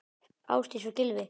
Ásdís og Gylfi.